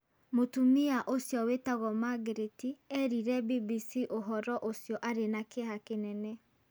Mũtumia ũcio wĩtagwo Magreti eerire BBC ũhoro ũcio arĩ na kĩeha kĩnene.